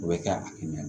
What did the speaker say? O bɛ kɛ a kɛ ɲɛ na